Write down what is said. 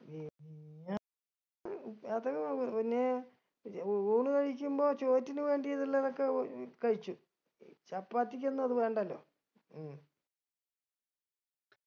അത് പിന്നെ ഊണ് കഴിക്കുമ്പോ ചോറ്റിന് വേണ്ടീതുള്ളതൊക്കെ ഉ ഏർ കഴിച്ചു ചപ്പാത്തിക്കൊന്നു അത് വേണ്ടലോ ഉം